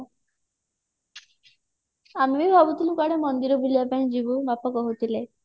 ଆମେ ବି ଭାବୁଥିଲୁ କୁଆଡେ ମନ୍ଦିର ବୁଲିବା ପାଇଁ ଯିବୁ ବାପା କହୁଥିଲେ